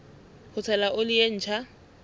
ho tshela oli e ntjha